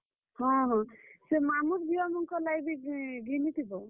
ହଁ ହଁ, ସେ ମାମୁଁର ଝିଅ ମାନଙ୍କର ଲାଗିବି ଘିନିଥିବ।